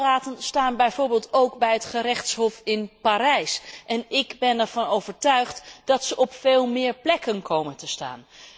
Die apparaten staan bijvoorbeeld ook bij het gerechtshof in Parijs en ik ben ervan overtuigd dat ze op veel meer plekken zullen gaan staan.